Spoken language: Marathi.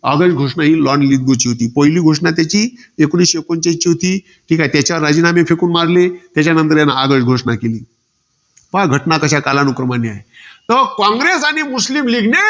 ऑगस्ट घोषणा ही lord लीगीगो ची होती. पहिली घोषणा त्याची एकोणीसशे एकोणचाळीसची होती. ठीके, त्याच्यावर राजीनामे फेकून मारले. त्याच्यानंतर त्याने आगळ घोषणा केली. पहा, घटना कशा कालानुक्रमाने आहे. तर कॉंग्रेस आणि मुस्लीम league ने,